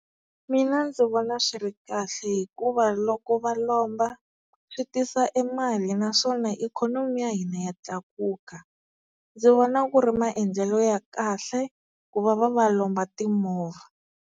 Mina ndzi vona swi ri kahle hikuva loko va lomba switisa e mali, naswona ikhonomi ya hina ya tlakuka. Ndzi vona ku ri maendlelo ya kahle ku va va va lomba timovha.